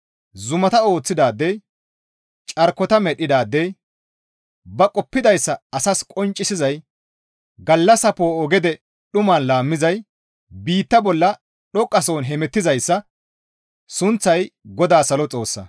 Zumata ooththidaadey carkota medhdhidaadey ba qoppidayssa asas qonccisizay gallassa poo7o gede dhuman laammizay biitta bolla dhoqqasohon hemettizayssa sunththay GODAA Salo Xoossa.